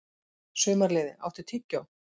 Sumarliði, áttu tyggjó?